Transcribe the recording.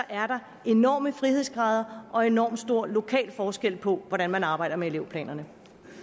er der enorme frihedsgrader og enormt stor lokal forskel på hvordan man arbejder med elevplanerne